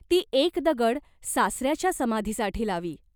ती एक दगड सासऱ्याच्या समाधीसाठी लावी.